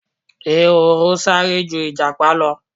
Ehoro sáré ju Ìjàpá lọ.